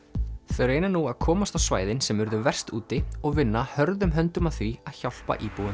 þau reyna nú að komast á svæðin sem urðu verst úti og vinna hörðum höndum að því að hjálpa íbúum